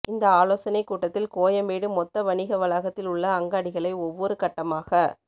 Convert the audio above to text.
இந்த ஆலோசனைக் கூட்டத்தில் கோயம்பேடு மொத்த வணிக வளாகத்தில் உள்ள அங்காடிகளை ஒவ்வொரு கட்டமாக